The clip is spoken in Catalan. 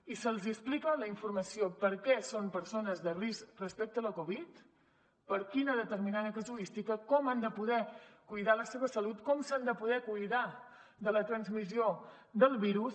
i se’ls explica la informació per què són persones de risc respecte a la covid per quina determinada casuística com han de poder cuidar la seva salut com s’han de poder cuidar de la transmissió del virus